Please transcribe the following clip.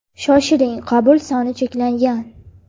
Shoshiling qabul soni cheklangan.